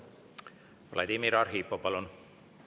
Vladimir Arhipov, palun!